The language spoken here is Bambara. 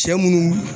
Cɛ munnu